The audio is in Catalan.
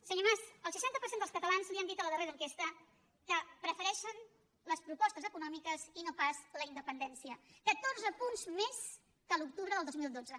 senyor mas el seixanta per cent dels catalans li han dit a la darrera enquesta que prefereixen les propostes econòmiques i no pas la independència catorze punts més que l’octubre del dos mil dotze